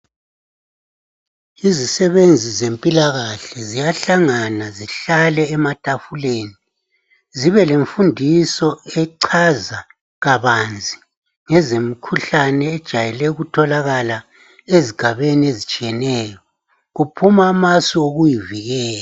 Izisebenzi zempilakahle ziyahlangana zihlale ematafuleni zibe lemfundiso echaza kabanzi ngeze mkhuhlane ejayele ukutholakala ezigabeni ezitshiyeneyo kuphuma ma sokuyivikela.